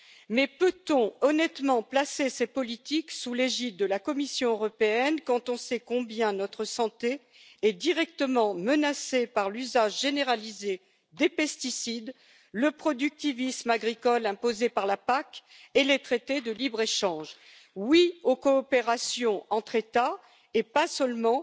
Mais peut on honnêtement placer ces politiques sous l'égide de la Commission européenne, quand on sait combien notre santé est directement menacée par l'usage généralisé des pesticides, le productivisme agricole imposé par la PAC et les traités de libre échange? Oui aux coopérations entre États, et pas seulement